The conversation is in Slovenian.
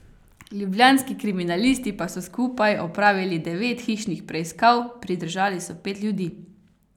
Ljubljanski kriminalisti pa so skupaj opravili devet hišnih preiskav, pridržali so pet ljudi.